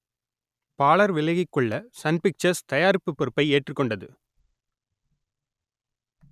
பாளர் விலகிக் கொள்ள Sun Pictures தயாரிப்பு பொறுப்பை ஏற்றுக் கொண்டது